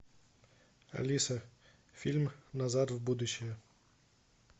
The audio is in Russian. алиса фильм назад в будущее